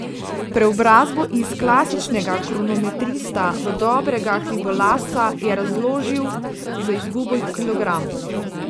Preobrazbo iz klasičnega kronometrista v dobrega hribolazca je razložil z izgubo kilogramov.